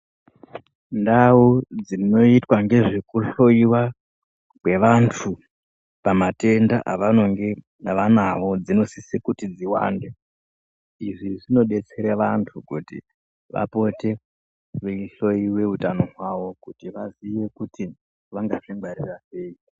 Ndau dzinoitwa ngezvekuhloyiwa kwevantu pamatenda avanenge vanawo dzinosise kuti dziwande izvi zvinodetsera vanhu kuti vapote veihloyiwe utano hwavo kuti vaziye kuti vangazvingwarira sei.